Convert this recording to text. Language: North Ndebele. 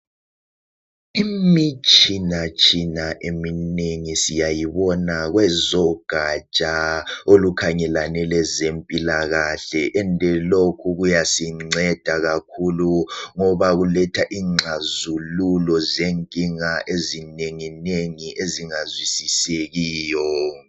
Imitshinatshina eminengi siyayibona kwezogatsha olukhangelane lezempilakahle ende lokhu kuyasinceda kakhulu ngoba kuletha ingxazululo zenkinga ezinenginengi ezingazwisisekiyo.